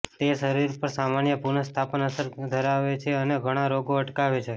તે શરીર પર સામાન્ય પુનઃસ્થાપન અસર ધરાવે છે અને ઘણા રોગો અટકાવે છે